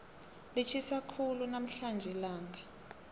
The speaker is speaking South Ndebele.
litjhisa khulu namhlanje ilanga